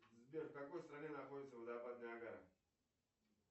сбер в какой стране находится водопад ниагара